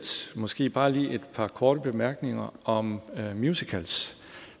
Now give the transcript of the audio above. måske bare lige et par korte bemærkninger om musicals